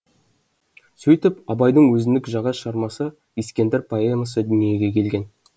сөйтіп абайдың өзіндік жаңа шығармасы ескендір поэмасы дүниеге келген